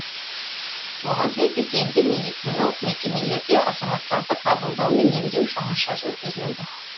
оған сәйкес енді медициналық мекемелерде азаматтарды қабылдау мен емдеу жаңаша жүргізіледі